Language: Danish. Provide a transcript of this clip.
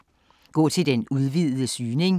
Gå til den udvidede søgning